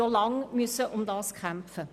Wir mussten lange dafür kämpfen.